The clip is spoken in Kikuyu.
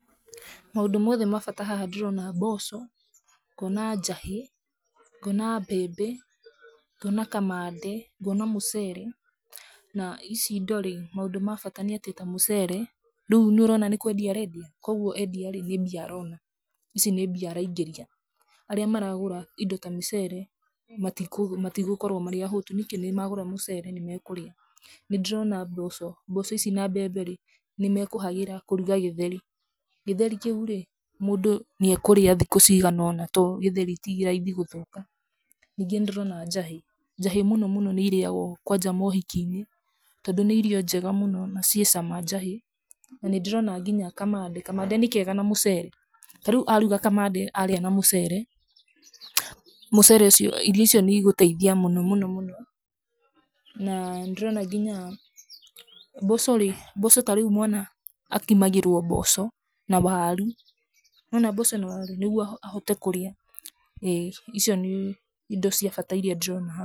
Maundũ mothe ma bata haha ndĩrona mboco, ngoona njahĩ, ngoona mbembe, ngoona kamande, ngoona mũcere. Na ici indo rĩ, maũndũ ma bata nĩ atĩ ta mũcere, rĩu nĩ ũrona nĩ kwendia arendia, kwoguo endia rĩ, nĩ mbia arona, ici nĩ mbia araingĩria. Arĩa maragũra indo ta mĩcere, matigũkorwo marĩ ahũtu. Nĩkĩ? Nĩ magũra mũcere, nĩ makũrĩa. Nĩ ndĩrona mboco. Mboco ici na mbembe rĩ, nĩ mekũhagĩra kũrũga gĩtheri. Gĩtheri kĩu rĩ, mũndũ nĩ ekũria thikũ cigana ũna to gĩtheri ti raithi gũthũka. Ningĩ nĩ ndĩrona njahĩ. Njahĩ mũnomũno nĩ irĩagwo kwanja maũhiki-inĩ tondũ nĩ irio njega mũno, na ciĩ cama njahĩ. Na nĩ ndĩrona nginya kamande. Kamande nĩ keega na mũcere. Ta rĩu aruga kamande, arĩa na mũcere, mũcere ũcio, irio icio nĩ igũteithia mũnomũno mũno. Na nĩ ndĩrona nginya, mboco rĩ, mboco ta rĩu mwana akimagĩrwo mboco na waru. Nĩ wona mboco na waru, nĩguo ahote kũrĩa. ĩ, icio nĩ indo cia bata iria ndĩrona haha.